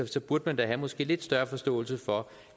så burde man da måske have lidt større forståelse for